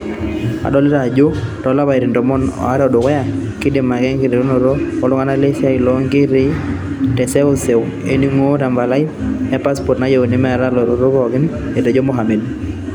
"Adolita ajo ore too lapaitin tomon o are o dukuya, kidim atii enkikenare o ltunganak lesiai loo ntekei te seusewe ening'uno te mpalai epassport nayieuni neeta latotok pooki," etejo Mohammed.